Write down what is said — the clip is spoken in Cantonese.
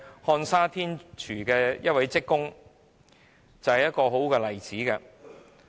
漢莎天廚於2017年解僱一名職工的個案正是一個好例子。